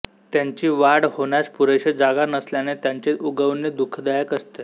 त्यांची वाढ होण्यास पुरेशी जागा नसल्याने त्यांचे उगवणे दुःखदायक असते